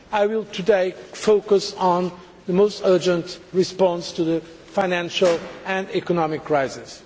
I will focus today on the most urgent response to the financial and economic crisis.